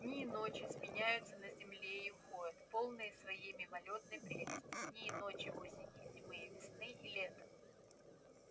дни и ночи сменяются на земле и уходят полные своей мимолётной прелести дни и ночи осени и зимы и весны и лета